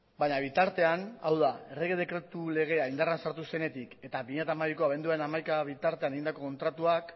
baina bitartean hau da errege dekretu legea indarrean sartu zenetik eta bi mila hamabiko abenduaren hamaika bitartean egindako kontratuak